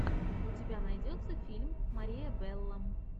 у тебя найдется фильм мария белло